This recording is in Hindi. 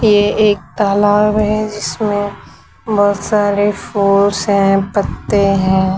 ये एक तलाब है इसमें बहोत सारे फूल्स हैं पत्ते हैं।